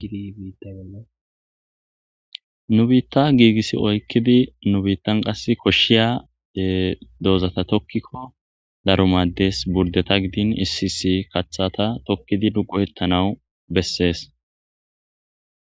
nu biitta giigissi oykkidi nu biittan qass koshshiya doozata tokkikko darumaddes burdeta gidin isisi kathata tokkidi duqu hettanawu bessees